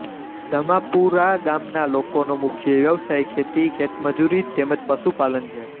દમાપુરા ગામના લોકોનો મુખ્ય વ્યવસાય ખેતી ખેતમજૂરી તેમ જ પશુપાલન છે